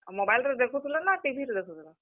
ଆଉ mobile ରେ ଦେଖୁଥିଲ ନା TV ରେ ଦେଖୁଥିଲ?